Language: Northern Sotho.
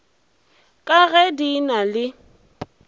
ka ge di na le